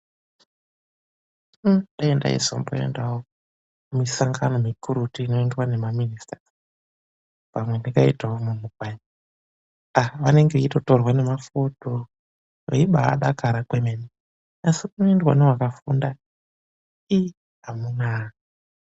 Dai ndaizo mboendao misangano mikurutu inoendwawo namaminisita pamwe ndingaitao munthu kwaye vanenge vachitotorwa nemafoto veibaadakara kwemene asi kunoendwa newakafunda iii amunaa.